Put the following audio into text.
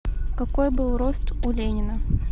какой был рост у ленина